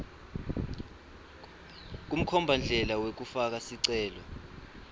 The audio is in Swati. kumkhombandlela wekufaka sicelo